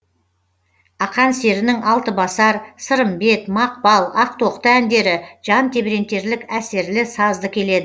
ақан серінің алтыбасар сырымбет мақпал ақтоқты әндері жан тебірентерлік әсерлі сазды келеді